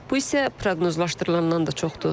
Bu isə proqnozlaşdırılandan da çoxdur.